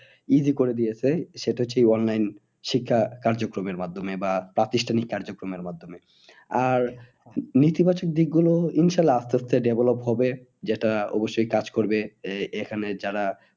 Easy করে দিয়েছে সেটা হচ্ছে এই online শিক্ষা কার্যক্রমের মাধ্যমে বা প্রাতিষ্ঠানিক কার্যক্রমের মাধ্যমে। আর নীতি বাচক দিক গুলো ইনশাল্লা আস্তে আস্তে development হবে যেটা অবশ্যই কাজ করবে এই এখানে যারা